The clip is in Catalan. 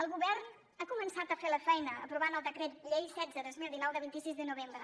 el govern ha començat a fer la feina aprovant el decret llei setze dos mil dinou de vint sis de novembre